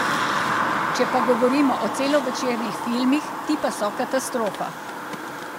Če pa govorimo o celovečernih filmih, ti pa so katastrofa.